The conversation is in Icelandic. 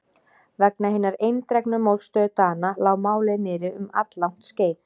Vegna hinnar eindregnu mótstöðu Dana lá málið niðri um alllangt skeið.